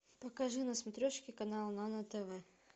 покажи на смотрешке канал нано тв